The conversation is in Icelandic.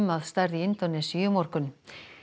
að stærð í Indónesíu í morgun